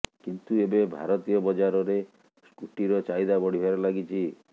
କିନ୍ତୁ ଏବେ ଭାରତୀୟ ବଜାରରେ ସ୍କୁଟିର ଚାହିଦା ବଢ଼ିବାରେ ଲାଗିଛି